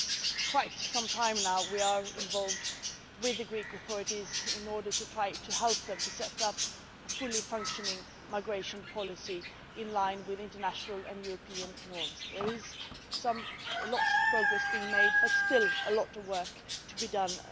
For quite some time now, we have been involved with the Greek authorities in trying to help them to set up a fully functioning migration policy in line with international and European norms. There is a lot of progress being made, but still a lot of work to be done.